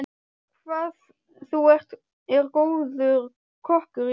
Hvað þú er góður kokkur, Jónsi.